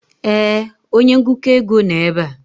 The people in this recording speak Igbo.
ee, onye ngụkọ ego nọ ebe a.